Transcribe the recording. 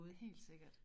Helt sikkert